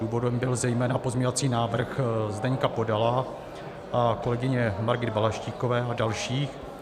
Důvodem byl zejména pozměňovací návrh Zdeňka Podala a kolegyně Margit Balaštíkové a dalších.